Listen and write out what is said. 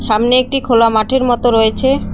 সামনে একটি খোলা মাঠের মতো রয়েছে।